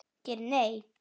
Geir Nei.